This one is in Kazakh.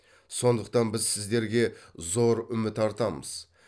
сондықтан біз сіздерге зор үміт артамыз